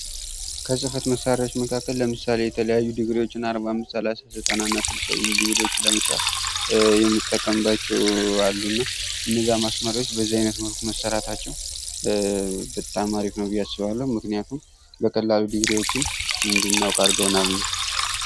ከፅፈት መሳሪያዎች መካከል ለምሳሌ የተለያዩ ድግሪዎችን አርባ አምስት ሰላሳ ዘጠና እና ስልሳ የሚሉ ድግሪዎችን ለመስራት የምንጠቀምባቸው አሉ እና እነዛ ማስመሪያዎች በዚህ አይነት መልኩ መሰራታቸው በጣም አሪፍ ነው ብዬ አስባለሁ ምክንያቱም በቀላሉ ድግሪዎችን እንድናውቅ አድርገውናልና ።